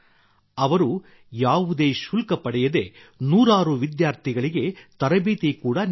ಅವರು ಯಾವುದೇ ಶುಲ್ಕ ಪಡೆಯದೇ ನೂರಾರು ವಿದ್ಯಾರ್ಥಿಗಳಿಗೆ ತರಬೇತಿ ಕೂಡಾ ನೀಡಿದ್ದಾರೆ